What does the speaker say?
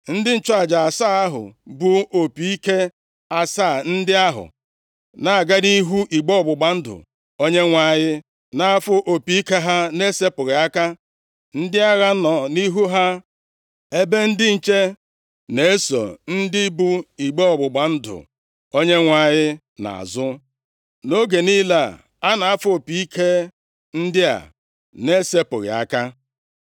Ndị nchụaja asaa ahụ bu opi ike asaa ndị ahụ, na-aga nʼihu igbe ọgbụgba ndụ Onyenwe anyị, na-afụ opi ike ha na-esepụghị aka. Ndị agha nọ nʼihu ha, ebe ndị nche na-eso ndị bu igbe ọgbụgba ndụ Onyenwe anyị nʼazụ, nʼoge niile a a na-afụ opi ike ndị a na-esepụghị aka.